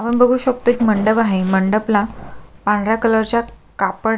आपण बघू शकतो एक मंडप आहे मंडपला पांढऱ्या कलरच्या कापड --